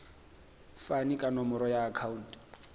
fane ka nomoro ya akhauntu